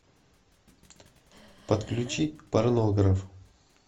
подключи порнограф